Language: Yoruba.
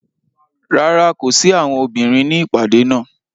Rárá, ko si awọn obinrin ni ipade naa.